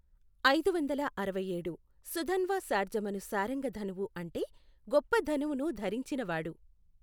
ఐదు వందల అరవై ఏడు, సుధన్వా శార్ఙమను శారంగ ధనువు అంటే గొప్ప ధనువును ధరించినవాడు.